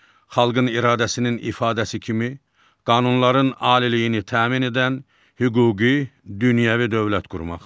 Xalqın iradəsinin ifadəsi kimi qanunların aliliyini təmin edən hüquqi, dünyəvi dövlət qurmaq.